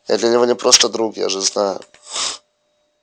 я для него не просто друг я же знаю